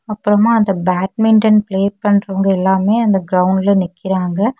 அப்பறமா அந்த badminton play பண்றவங்க எல்லாமே அந்த கிரவுண்ட்ல நிக்கிறாங்க.